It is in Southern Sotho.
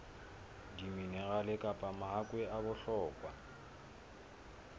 diminerale kapa mahakwe a bohlokwa